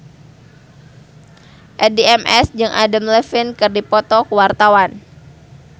Addie MS jeung Adam Levine keur dipoto ku wartawan